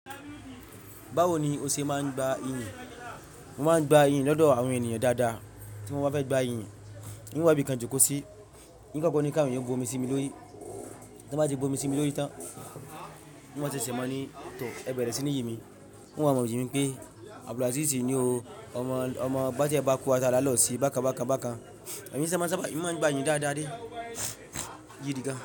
Bawo ni o ṣe máa ń gba iyì ni? Wọn máa ń gba iyìn ní lọ́dọ̀ àwọn ènìyàn dáadáa tí wọ́n bá fẹ́ gba iyì ni. Èmi wá bi kánjú kó sí, yín kọ́ ko ni ká ìyẹn bomi sí mi lórí. Tí wọ́n bá ti bomi sí mi lórí tán, wọ́n máa ṣẹ̀ṣẹ̀ máa ní tọ̀ ẹ bẹ̀rẹ̀ sí ní yì mí. Wọn máa mọ̀ yin mi pé Abdulazeez ni o. Omo bá adie bá ku ata lálọ́ sí, bákan bákan bákan. Ẹ̀mí máa ń sá bá, máa ń gba iyìn dáadáa dé, gidi gan.